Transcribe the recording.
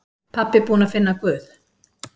Pabbi búinn að finna Guð!